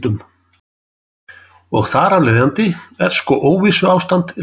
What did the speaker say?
Og þar af leiðandi er sko óvissuástandið líka.